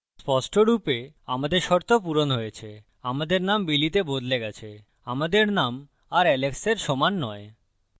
স্পষ্টরূপে আমাদের শর্ত পূরণ হয়েছে আমাদের name billy তে বদলে গেছে আমাদের name আর alex সমান নয়